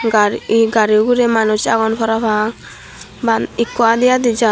ar eei gari ugurey manuch agon parapang maan ekko adi adi jaar.